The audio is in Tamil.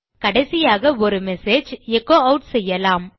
கடைசியாக ஒரு மெசேஜ் எச்சோ ஆட் செய்யலாம்